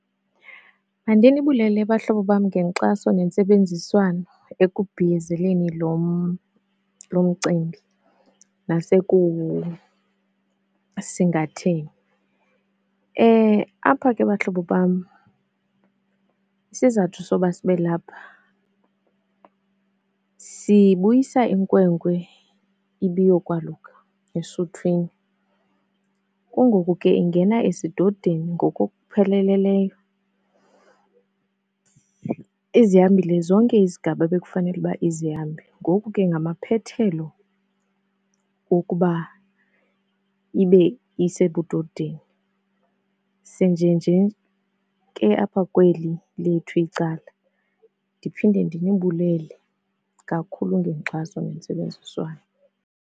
Bandinibulele bahlobo bam ngenkxaso nentsebenziswano ekubhiyozeleni lo mcimbi nasekuwusingatheni. Apha ke bahlobo bam, isizathu soba sibe lapha sibuyisa inkwenkwe ibiyokwaluka esuthwini. Kungoku ke ingena esidodeni ngokokupheleleleyo. Izihambile zonke izigaba bekufanele ukuba izihambe ngoku ke ngamaphethelo wokuba ibe isebudodeni. Sinjenje ke apha kweli lethu icala. Ndiphinde ndinibulele kakhulu ngenkxaso nentsebenziswano.